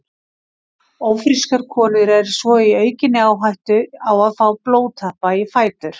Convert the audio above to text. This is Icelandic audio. Ófrískar konur eru svo í aukinni áhættu á að fá blóðtappa í fætur.